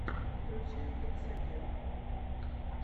включай гексаген